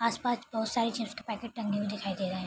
आसपाच बहोत सारे चिप्स के पैकेट टंगे हुए दिखाई दे रहे हैं।